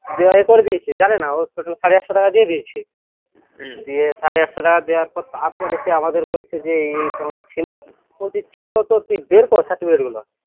দিয়ে ইয়ে করে দিয়েছে জানে না ও total সাড়ে আটশো টাকা দিয়ে দিয়েছে দিয়ে সাড়ে আটশ টাকা দেওয়ার পর তারপর এসে আমাদের বলছে যে এই এই তোমার ছিল সে ছিল তো তুই বের কর certificate গুলা